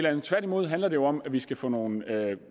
andet tværtimod handler det jo om at vi skal få nogle